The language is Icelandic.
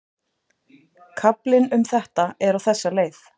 Kaflinn um þetta er á þessa leið